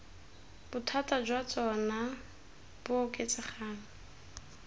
bothata jwa tsona bo oketsegang